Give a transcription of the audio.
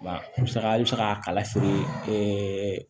Musaka i bɛ se k'a kala feere